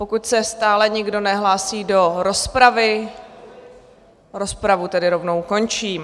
Pokud se stále nikdo nehlásí do rozpravy, rozpravu tedy rovnou končím.